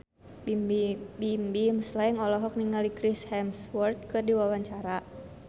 Bimbim Slank olohok ningali Chris Hemsworth keur diwawancara